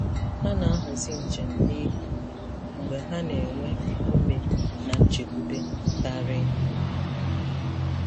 Ha na-ahazi njem n'ehihie mgbe ha na-enwe ume na nchekwube karị.